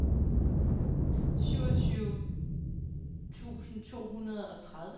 syvogtyve tusind to hundrede og tredive